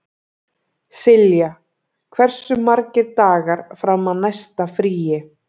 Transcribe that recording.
Silja, hversu margir dagar fram að næsta fríi?